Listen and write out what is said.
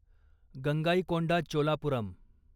Gangaikonda Cholapuram